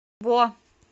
бо